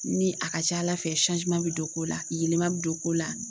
Ni a ka ca ala fɛ bɛ don ko la, yɛlɛma bɛ don ko la.